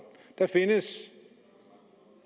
der findes